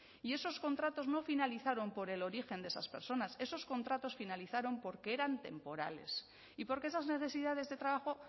y esos contratos no finalizaron por el origen de esas personas esos contratos finalizaron porque eran temporales y porque esas necesidades de trabajo